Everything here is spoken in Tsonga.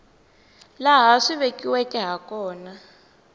laha swi vekiweke ha kona